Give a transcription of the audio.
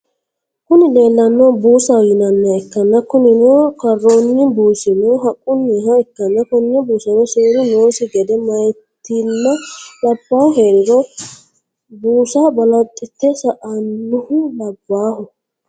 Kuni lelanohu busaho yinaniha ikana kunnino karronni busino haqquniha ikana kone busano serru nossi gede miyyatina labbahu heriro busa balaxte saanohu labbaho.